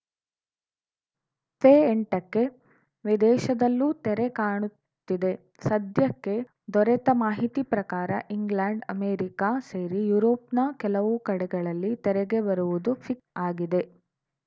ಫೆಎಂಟ ಕ್ಕೆ ವಿದೇಶದಲ್ಲೂ ತೆರೆ ಕಾಣುತ್ತಿದೆ ಸದ್ಯಕ್ಕೆ ದೊರೆತ ಮಾಹಿತಿ ಪ್ರಕಾರ ಇಂಗ್ಲೆಂಡ್‌ ಅಮೆರಿಕ ಸೇರಿ ಯುರೋಪ್‌ನ ಕೆಲವು ಕಡೆಗಳಲ್ಲಿ ತೆರೆಗೆ ಬರುವುದು ಫಿಕ್ ಆಗಿದೆ